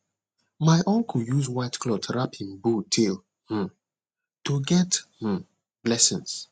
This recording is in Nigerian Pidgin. my uncle use white cloth wrap him bull tail um to get um blessing